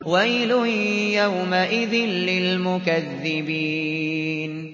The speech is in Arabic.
وَيْلٌ يَوْمَئِذٍ لِّلْمُكَذِّبِينَ